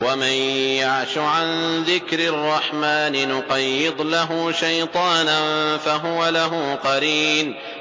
وَمَن يَعْشُ عَن ذِكْرِ الرَّحْمَٰنِ نُقَيِّضْ لَهُ شَيْطَانًا فَهُوَ لَهُ قَرِينٌ